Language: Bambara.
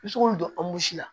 I bɛ se k'olu don an b'o si la